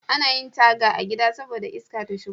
Anayin Taga a gida saboda iska ta shigo